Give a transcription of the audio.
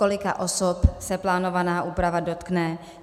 Kolika osob se plánovaná úprava dotkne?